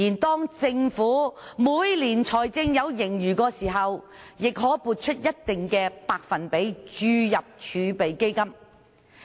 當政府每年出現財政盈餘時，也可撥出一定百分比，注入儲備基金。